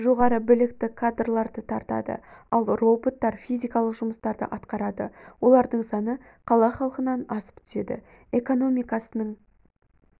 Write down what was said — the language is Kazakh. жоғары білікті кадрларды тартады ал роботтар физикалық жұмыстарды атқарады олардың саны қала халқынан асып түседі экономикасының